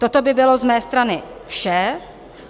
Toto by bylo z mé strany vše.